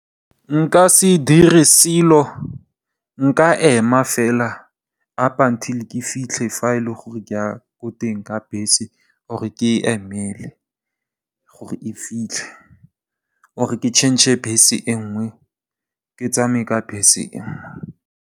Nka se dire selo, nka ema fela up until ke fitlhe fa e le gore ke ya ko teng ka bese or e ke e emele gore ke fitlhe or ke tšhentšhe bese e nngwe ke tsamaye ka bese e nngwe.